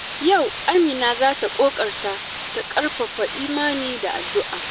Yau Amina za ta ƙoƙarta ta ƙarfafa imani da addu’a.